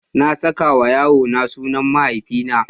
Na saka wa yarona sunan mahaifina.